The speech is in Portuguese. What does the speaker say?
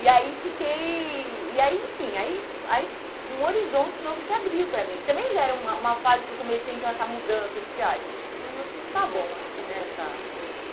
E aí fiquei... E aí, enfim, aí aí um horizonte novo se abriu para mim, que também já era uma uma fase que eu comecei a ter essa mudança de que, ai, não não está bom aqui, né? Uhum, uhum. Essa